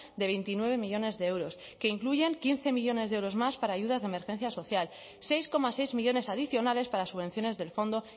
de veintinueve millónes de euros que incluyen quince millónes de euros más para ayudas de emergencia social seis coma seis millónes adicionales para subvenciones del fondo